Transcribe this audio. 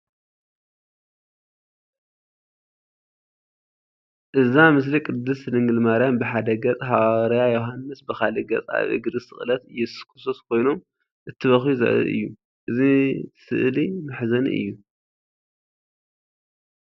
እዛ ምስሊ ቅድስት ድንግል ማርያም ብሓደ ገፅ ሓዋርያ ዮሃንስ ብካልእ ገፅ ኣብ እግሪ ስቕለት ኢየሱስ ክርስቶስ ኮይኖም እንትበኽዩ ዘርኢ እዩ፡፡ እዚ ስእሊ መሕዘኒ እዩ፡፡